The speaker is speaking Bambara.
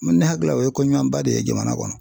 Ne hakili la o ye ko ɲumanba de ye jamana kɔnɔ.